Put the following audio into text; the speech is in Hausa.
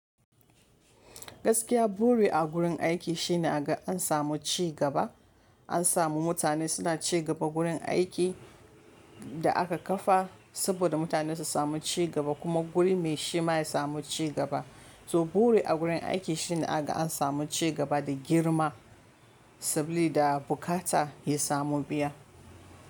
Gaskiya, buri a gurin aiki shine a ga an samu cigaba, an samu mutane suna cigaba gurin aiki da aka kafa saboda mutane su samu cigaba kuma gurin mai shi ma ya samu cigaba. To buri a gurin aiki shine a ga an samu cigaba da girma sabili da bukata ya samu biya.